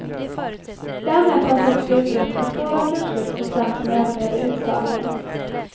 Därmed fanns också utrymme för stora kurslyft hos dem som överlevde utslagningen.